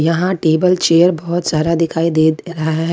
यहां table chair बहोत सारा दिखाई दे रहा है।